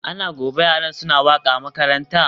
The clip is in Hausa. Ana gobe yaran suna waka a makaranta?